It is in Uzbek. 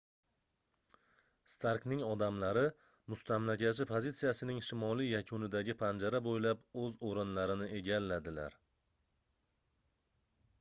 starkning odamlari mustamlakachi pozitsiyasining shimoliy yakunidagi panjara boʻylab oʻz oʻrinlarini egalladilar